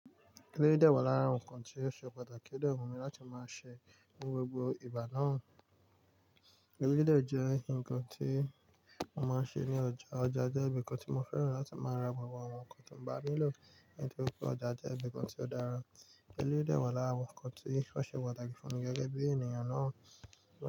Kíló dé wà lára nǹkan tí ó ṣe pàtàkì dẹ́wàá fún mi láti máa ṣe ní gbogbo ìgbà náà? Kíló dé jẹ́ nǹkan tí mo máa ń ṣe ní ọjà? Ọjà jẹ́ ibi tí mo fẹ́ràn láti máa ra gbogbo àwọn nǹkan tí mo bá nílò, nítorí ọjà jẹ́ ibi tí ó dára. Kíló dé wà lára nǹkan tí ó ṣe pàtàkì fún mi gẹ́gẹ́ bí ènìyàn náà?